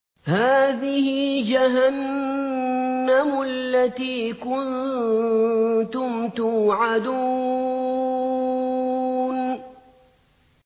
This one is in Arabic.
هَٰذِهِ جَهَنَّمُ الَّتِي كُنتُمْ تُوعَدُونَ